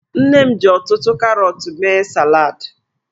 Nne m ji ọtụtụ karọtụ mee salad.